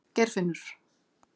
Geirfinnur